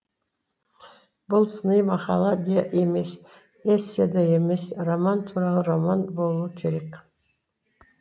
бұл сыни мақала да емес эссе де емес роман туралы роман болуы керек